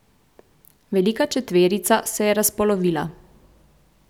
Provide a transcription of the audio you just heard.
Velika četverica se je razpolovila.